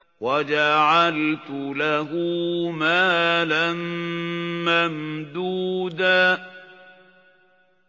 وَجَعَلْتُ لَهُ مَالًا مَّمْدُودًا